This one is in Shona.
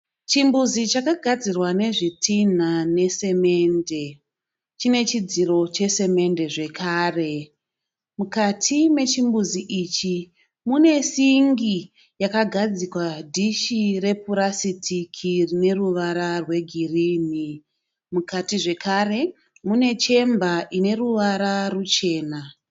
Chimbuzi chakagadzirwa nezvitina nesimende, chine chidziro chesimende zvakare. Mukati mechimbuzi ichi mune singi yakagadzikwa dishi repurasitiki rine ruvara rwegirini. Mukati zvakare mune chemba ine ruvara ruchena.